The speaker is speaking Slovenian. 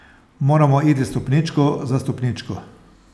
Moramo iti stopničko za stopničko.